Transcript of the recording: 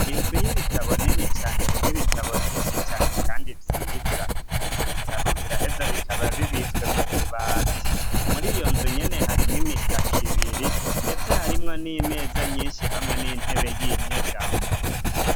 Inzu y'ibitabo nini cane rimwe ibitabo vyinshi cane, kandi vyiza ivyo bitabo biraheza bikaba bibitswe mu bubati muri iyo nzu nyene harimwo imitaka ibiri, ndetse harimwo n'imeza nyinshi hamwe n'intebe y'inyegamo.